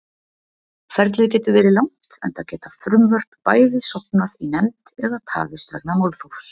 Ferlið getur verið langt enda geta frumvörp bæði sofnað í nefnd eða tafist vegna málþófs.